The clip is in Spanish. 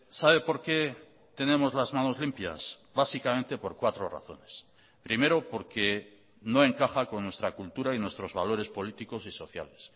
sabe por qué tenemos las manos limpias básicamente por cuatro razones primero porque no encaja con nuestra cultura y nuestros valores políticos y sociales